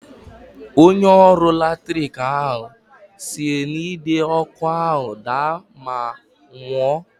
Onye ọrụ latrik ahụ si n'Ide ọkụ ahụ daa ma nwụọ.